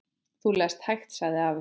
Þú lest hægt, sagði afi.